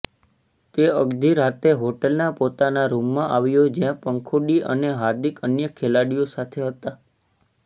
તે અડધી રાતે હોટલના પોતાના રૂમમાં આવ્યો જ્યાં પંખુડી અને હાર્દિક અન્ય ખેલાડીઓ સાથે હતા